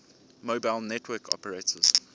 mobile network operators